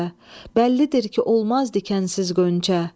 Bəllidir ki, olmazdı dikənsiz gönçə.